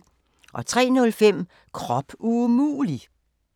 03:05: Krop umulig!